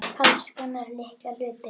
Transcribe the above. Alls konar litla hluti.